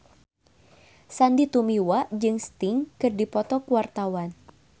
Sandy Tumiwa jeung Sting keur dipoto ku wartawan